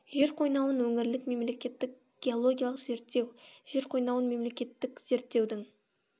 жер қойнауын өңірлік мемлекеттік геологиялық зерттеу жер қойнауын мемлекеттік зерттеудің